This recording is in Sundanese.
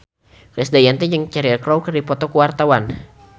Krisdayanti jeung Cheryl Crow keur dipoto ku wartawan